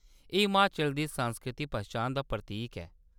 एह्‌‌ हिमाचल दी सांस्कृतिक पन्छान दा प्रतीक ऐ।